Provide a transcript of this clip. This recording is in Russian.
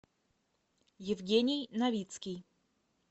евгений новицкий